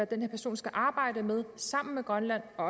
den her person skal arbejde med sammen med grønland og